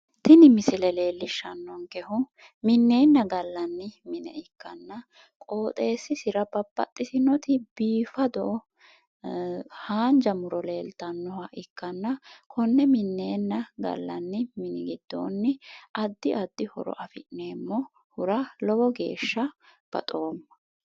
Tini misile leellishshsannonkehu minneenna gallanni mine ikkanna qooxxeessisira babbaxxtino biifado haanja muro leeltannoha ikkanna konne minneenna gallanni mini giddoonni addi addi horo afi'neemmohura lowo geeshsha baxoomma.